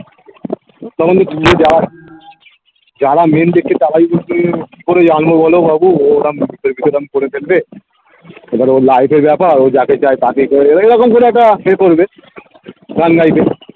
তখন যারা main দেখছে তারাই যদি কি করে জানবো বলো বাবু ওরা করে ফেলবে এবার ওর life এর ব্যাপার ও যাকে চায় তাকেই করবে এইরকম করে একটা এ করবে